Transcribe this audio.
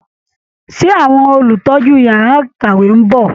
Ṣé àwọn olùtọ́jú yàrá ìkàwé ń bọ̀?